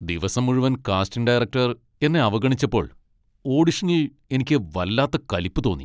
ദിവസം മുഴുവൻ casting director എന്നെ അവഗണിച്ചപ്പോൾ ഓഡിഷനിൽ എനിക്ക് വല്ലാത്ത കലിപ്പ് തോന്നി.